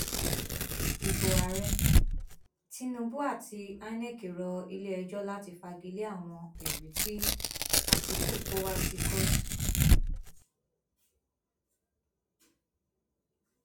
ibo ààrẹ tinubu àti inec rọ iléẹjọ láti fagi lé àwọn ẹrí tí àtikukú kó wá sí kóòtù